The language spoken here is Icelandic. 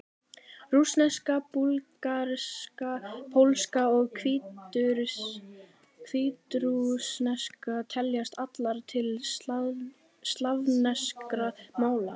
Rússneska, búlgarska, pólska og hvítrússneska teljast allar til slavneskra mála.